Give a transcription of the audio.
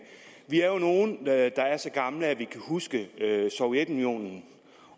vi er jo nogle der er så gamle at vi kan huske sovjetunionen